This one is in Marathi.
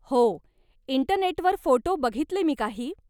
हो, इंटरनेटवर फोटो बघितले मी काही.